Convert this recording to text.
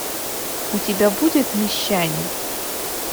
у тебя будет мещане